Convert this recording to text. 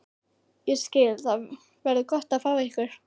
Ég skil- Það verður gott að fá ykkur.